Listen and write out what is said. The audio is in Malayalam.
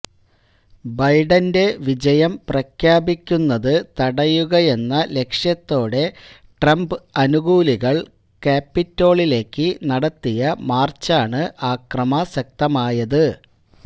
ബൈഡന്റെ വിജയം പ്രഖ്യാപിക്കുന്നത് തടയുകയെന്ന ലക്ഷ്യത്തോടെ ട്രംപ് അനുകൂലികള് കാപ്പിറ്റോളിലേക്ക് നടത്തിയ മാര്ച്ചാണ് അക്രമാസക്തമായത്